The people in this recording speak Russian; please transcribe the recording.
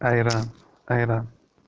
айран айран